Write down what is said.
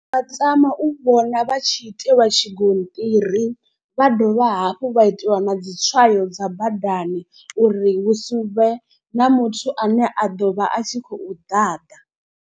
Ndi nga tama u vhona vha tshi itiwa tshigonṱiri vha dovha hafhu vha itiwa na dzi tswayo dza badani. Uri hu si vhe na muthu ane a ḓo vha a tshi khou ḓaḓa.